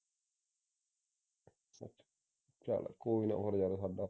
ਚੱਲ ਕੋਈ ਨਾ